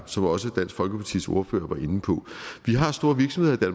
som også dansk folkepartis ordfører var inde på vi har store virksomheder i